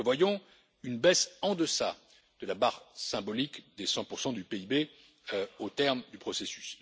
Nous prévoyons une baisse en deçà de la barre symbolique des 100 du PIB au terme du processus.